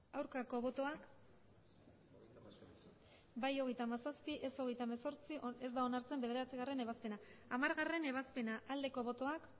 aurkako botoak emandako botoak hirurogeita hamabost bai hogeita hamazazpi ez hogeita hemezortzi ez da onartzen bederatzigarrena ebazpena hamargarrena ebazpena aldeko botoak